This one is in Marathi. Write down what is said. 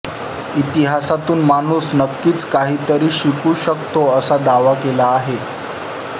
इतिहासातून माणूस नक्कीच काहीतरी शिकू शकतो असा दावा केला आहे